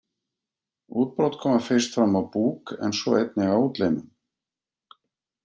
Útbrot koma fyrst fram á búk en svo einnig á útlimum.